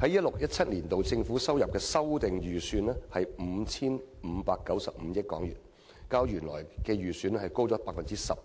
在 2016-2017 年度，政府收入的修訂預算為 5,595 億元，較原來預算高出 12%，